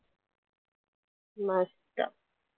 मस्त